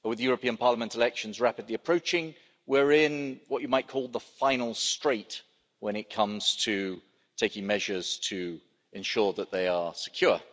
With the European Parliament elections rapidly approaching, we're in what you might call the final straight when it comes to taking measures to ensure that they are secure.